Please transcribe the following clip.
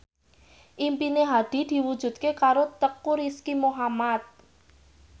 impine Hadi diwujudke karo Teuku Rizky Muhammad